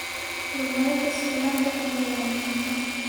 Horumarinta sugnaanta cunnada waa muhiim.